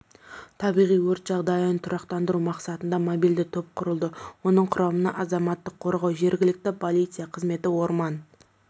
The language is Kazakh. табиғи өрт жағдайын тұрақтандыру мақсатында мобильді топ құрылды оның құрамына азаматтық қорғау жергілікті полиция қызметі орман